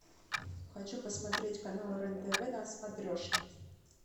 хочу посмотреть канал рен тв на смотрешке